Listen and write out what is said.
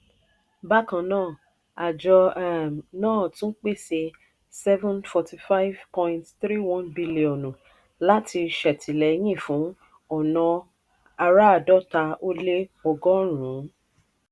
bákan náà àjọ um náà tún pèsè n seven hundred forty five point three one bílíọ̀nù láti ṣètìlẹ́yìn fún ọ̀nà àràádọ́ta ó lé ọgọ́rùn-ún